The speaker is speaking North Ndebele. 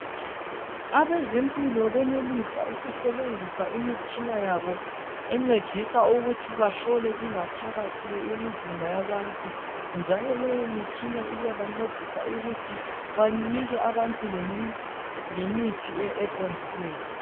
Abezempilo benelisa ukusebenzisa imitshina yabo encedisa ukuthi bahlole ingaphakathi yemizimba yabantu. Njalo leyo mitshina iyaba ncedisa ukuthi banike labantu lemithi eqondileyo.